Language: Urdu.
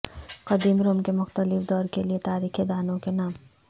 قدیم روم کے مختلف دور کے لئے تاریخ دانوں کے نام